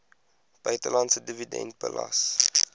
buitelandse dividend belas